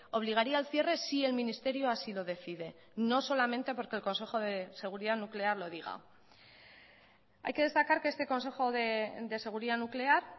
obligaría al cierre si el ministerio así lo decide no solamente porque el consejo de seguridad nuclear lo diga hay que destacar que este consejo de seguridad nuclear